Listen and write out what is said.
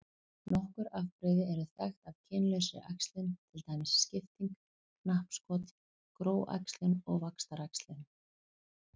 Nokkur afbrigði eru þekkt af kynlausri æxlun til dæmis skipting, knappskot, gróæxlun og vaxtaræxlun.